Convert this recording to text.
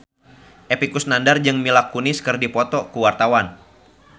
Epy Kusnandar jeung Mila Kunis keur dipoto ku wartawan